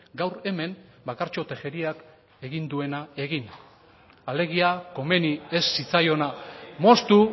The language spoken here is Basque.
gaur hemen bakartxo tejeriak egin duena egin alegia komeni ez zitzaiona moztu